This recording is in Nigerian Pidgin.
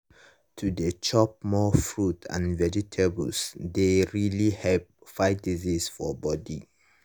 to dey chop more fruits and vegetables dey really help fight disease for body.